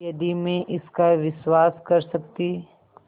यदि मैं इसका विश्वास कर सकती